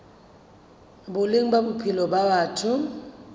boleng ba bophelo ba batho